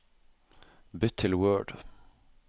Bytt til Word